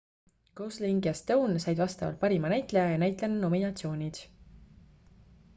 gosling ja stone said vastavalt parima näitleja ja näitlejanna nominatsioonid